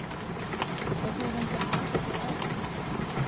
Hvernig er hægt að taka það af honum?